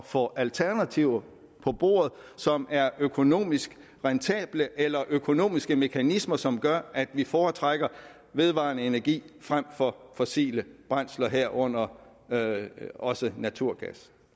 få alternativer på bordet som er økonomisk rentable eller økonomiske mekanismer som gør at vi foretrækker vedvarende energi frem for fossile brændsler herunder også naturgas